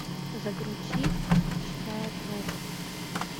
загрузи чистая проба